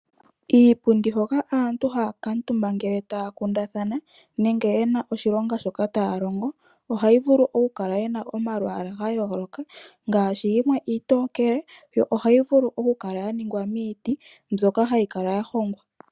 Iipundi hoka aantu hay kuutumba ngele taya kundathana nenge yena oshilonga shoka taua longo ohayi vulu okukala yina omalwala ga yooloka ngaashi iitokele yo ohayi vulu oku kala ya ningwa miiti mbyoka ya hongwa.